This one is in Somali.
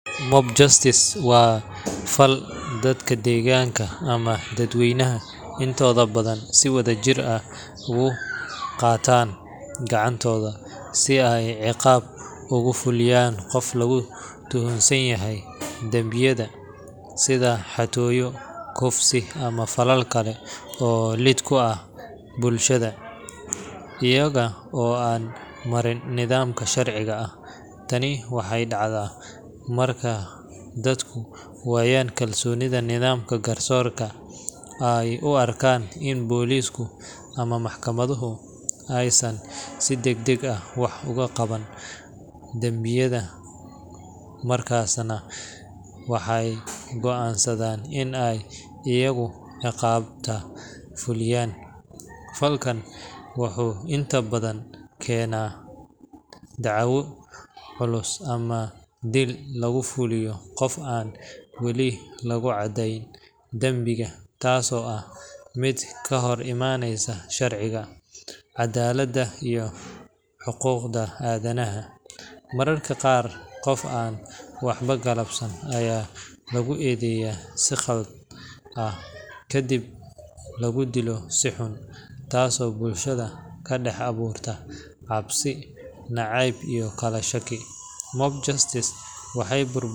Mob justice waa fal dadka deegaanka ama dadweynaha intooda badan si wadajir ah ugu qaataan gacantooda si ay ciqaab ugu fuliyaan qof lagu tuhunsan yahay dambiyada sida xatooyo, kufsi, ama falal kale oo lid ku ah bulshada, iyaga oo aan marin nidaamka sharciga ah. Tani waxay dhacdaa marka dadku waayaan kalsoonida nidaamka garsoorka, ay u arkaan in boolisku ama maxkamaduhu aysan si degdeg ah wax uga qaban dambiyada, markaasna waxay go’aansadaan in ay iyagu ciqaabta fuliyaan. Falkan wuxuu inta badan keenaa dhaawacyo culus ama dil lagu fuliyo qof aan weli lagu caddeyn dambiga, taasoo ah mid ka hor imanaysa sharciga, caddaaladda iyo xuquuqda aadanaha. Mararka qaar, qof aan waxba galabsan ayaa lagu eedeeyaa si qalad ah kadibna lagu dilo si xun, taasoo bulshada ka dhax abuurta cabsi, nacayb iyo kala shaki. Mob justice waxay.